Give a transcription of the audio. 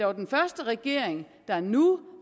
er den første regering der nu